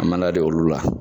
An m'an da d'olu la.